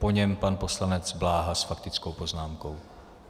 Po něm pan poslanec Bláha s faktickou poznámkou.